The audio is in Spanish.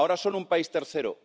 Ahora son un país tercero.